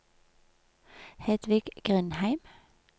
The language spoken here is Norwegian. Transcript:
Hedvig Grindheim